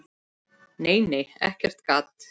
Nei, nei, ekkert gat!